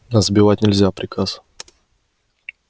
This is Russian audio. а сбивать нельзя приказ